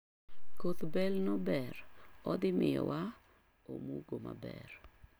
Koth bel no ber, odhii miyo wa omugo maber.